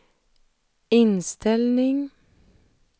inställning